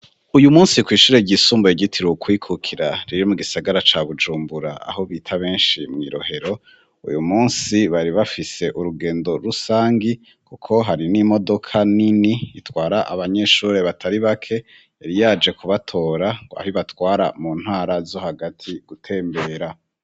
Uyu munsi kw'ishure ryisumbuye ryitiriwe kwikukira riri mu gisagara ca Bujumbura aho bita benshi mw'i Rohero uyu munsi bari bafise urugendo rusangi kuko hari n'imodoka nini itwara abanyeshure batari bake yari yaje kubatora ngo aho ibatwara mu ntara zo hagati gutembera.